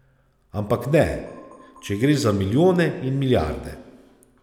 Ampak ne, če gre za milijone in milijarde.